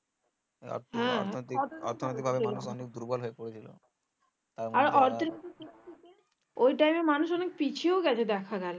ওই time এ মানুষ অনেক পিছিয়েও গেছে দেখা গেলে